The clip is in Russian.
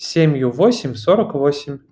семь ю восемь сорок восемь